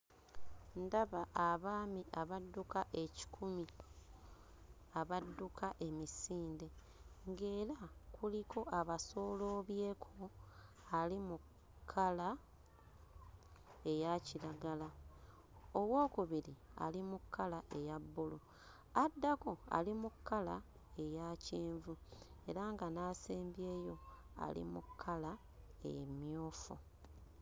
Ndaba abaami abadduka ekikumi abadduka emisinde ng'era kuliko abasooloobyeko ali mu kkala eya kiragala owookubiri ali mu kkala eya bbulu addako ali mu kkala eya kyenvu era nga n'asembyeyo ali mu kkala emmyufu.